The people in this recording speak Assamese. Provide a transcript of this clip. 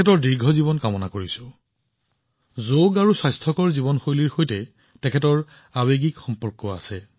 তেওঁৰ যোগৰ প্ৰতি আগ্ৰহ আছে আৰু তেওঁ এটা অতি স্বাস্থ্যকৰ জীৱনশৈলী নিৰ্বাহ কৰি আছে